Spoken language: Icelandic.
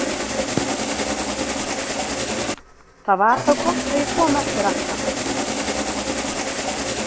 Það var þá gott að ég kom eftir allt saman.